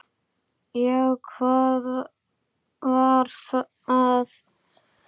Já, hvað var að?